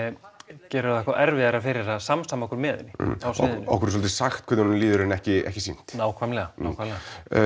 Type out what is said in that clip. gerir hún okkur erfiðara fyrir að samsama okkur með henni á sviðinu okkur er svolítið sagt hvernig honum líður en ekki ekki sýnt nákvæmlega nákvæmlega